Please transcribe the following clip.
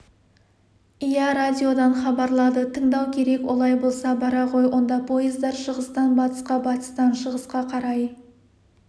иә радиодан хабарлады тыңдау керек олай болса бара ғой онда пойыздар шығыстан батысқа батыстан шығысқа қарай